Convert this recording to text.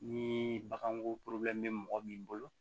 Ni bagan ko bɛ mɔgɔ min bolo